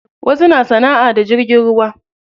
Wasu na sanaʼa da jirgin ruwa.